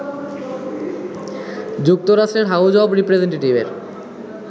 যুক্তরাষ্ট্রের house of রিপ্রেসেন্টেটিভের